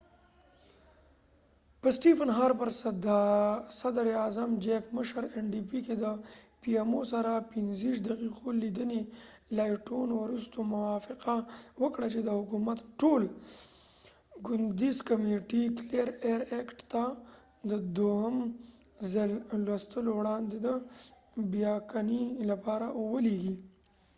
صدراعظم stephen harper په pmo کې د ndp مشر jack layton سره د 25 دقیقو لیدنې وروسته موافقه وکړه چې د حکومت clean air act ټول ګوندیز کمیټې ته د دوهم ځل لوستلو وړاندې د بیاکتنې لپاره ولیږي